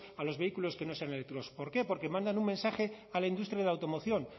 a los vehículos que no sean eléctricos por qué porque mandan un mensaje a la industria de la automoción